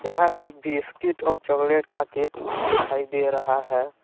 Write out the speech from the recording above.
यहां पे बिस्किट और चॉकलेट का केक दिखाई दे रहा है।